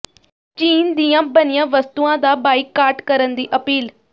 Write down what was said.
ਚੀਨ ਦੀਆਂ ਬਣੀਆਂ ਵਸਤੂਆਂ ਦਾ ਬਾਈਕਾਟ ਕਰਨ ਦੀ ਅਪੀਲ